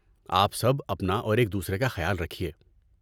آپ سب اپنا اور ایک دوسرے کا خیال رکھیے۔